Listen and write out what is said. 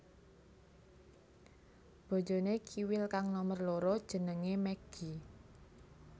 Bojoné Kiwil kang nomer loro jenengé Meggi